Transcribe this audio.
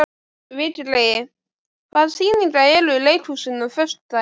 Vigri, hvaða sýningar eru í leikhúsinu á föstudaginn?